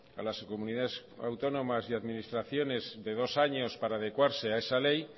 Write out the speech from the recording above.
a las comunidades autónomas y administraciones de dos años para adecuarse a esa ley